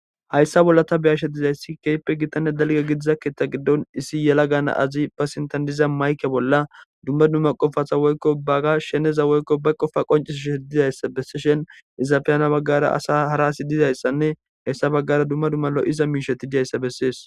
hayssa bolla ta beyashe dizayssi keyppe gittane dalge gidiza keetha giddon issi yela gana azi ba sintandiza mayke bolla dumma dumma qofata woykko bagga sheneza woykko ba qofa qoncisushe dizayssa bessi shen izaafeyana baggara asa hara asi dizayssanne hayssa baggara dumma dummalo iza miisheti dizayssa bessees